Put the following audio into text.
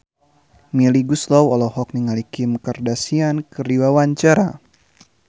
Melly Goeslaw olohok ningali Kim Kardashian keur diwawancara